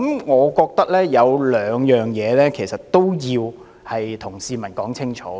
我覺得有兩點要對市民說清楚。